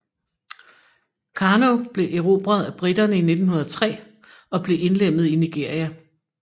Kano blev erobret af britterne 1903 og blev indlemmet i Nigeria